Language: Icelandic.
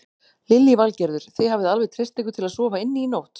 Lillý Valgerður: Þið hafið alveg treyst ykkur til að sofa inni í nótt?